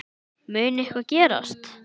Mun eitthvað gerast?